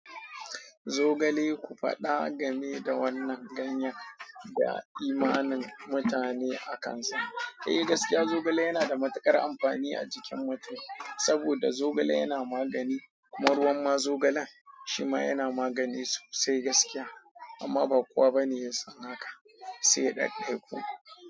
Zogale, ku faɗa gameda wannan ganyen da imanin mutane a kansa. Eh, gaskiya, zogale yana da matuƙar amfani a jikin mutum saboda zogale yana magani, kuma ruwan ma zogalen shima yana magani sosai gaskiya, amma ba kowa bane ya sani haka, sai ɗaiɗaiku.